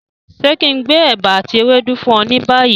Ṣe kí n gbé ẹ̀bà ati ewédú fún ọ ni bayi?